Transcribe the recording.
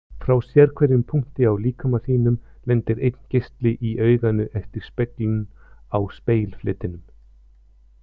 Frá sérhverjum punkti á líkama þínum lendir einn geisli í auganu eftir speglun á spegilfletinum.